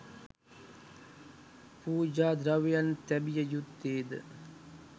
පූජා ද්‍රව්‍යයන් තැබිය යුත්තේ ද